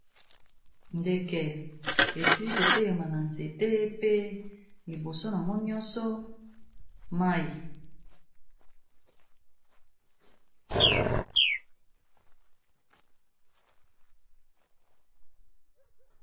Ndeke esili kotelema na nzete pe liboso nango nyonso mayi.